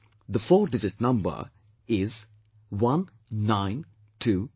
That four digit number is 1922